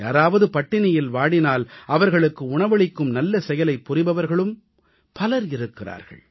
யாராவது பட்டினியில் வாடினால் அவர்களுக்கு உணவளிக்கும் நல்ல செயலைப் புரிபவர்களும் பலர் இருக்கிறார்கள்